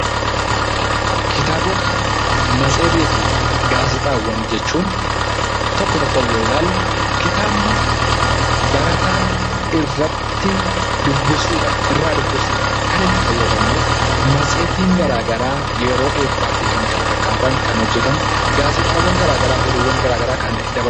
Kitaabota, matseetii fi gaazexaawwan jechuun tokko tokkoon yoo ilaalle, kitaabni barataan irratti dubbisuudhaan irraa dubbisuudhaan kan itti fayyadamu; Matseetiin garaagaraa yeroo eebbaa fi kan kana fakkaatan kan hojjetamu; gaazexaawwan garaagaraa oduuwwan garaagaraa kan daba....